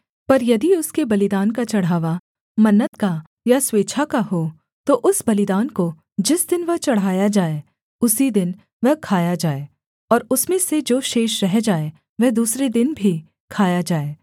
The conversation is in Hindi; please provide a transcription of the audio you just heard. पर यदि उसके बलिदान का चढ़ावा मन्नत का या स्वेच्छा का हो तो उस बलिदान को जिस दिन वह चढ़ाया जाए उसी दिन वह खाया जाए और उसमें से जो शेष रह जाए वह दूसरे दिन भी खाया जाए